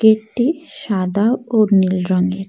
একটি সাদা ও নীল রঙের।